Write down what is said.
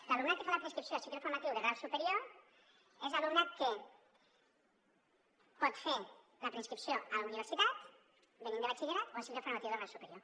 l’alumnat que fa la preinscripció a cicle formatiu de grau superior és alumnat que pot fer la preinscripció a la universitat venint de batxillerat o a cicle formatiu de grau superior